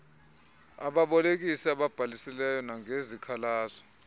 ababolekisi ababhalisileyo nangezikhalazo